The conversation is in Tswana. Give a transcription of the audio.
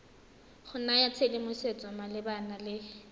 go naya tshedimosetso malebana le